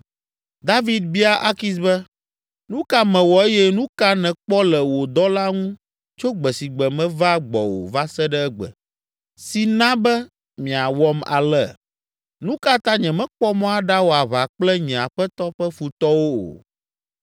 David bia Akis be, “Nu ka mewɔ eye nu ka nèkpɔ le wò dɔla ŋu tso gbesigbe meva gbɔwò va se ɖe egbe, si na be miawɔm ale? Nu ka ta nyemekpɔ mɔ aɖawɔ aʋa kple nye aƒetɔ ƒe futɔwo o?”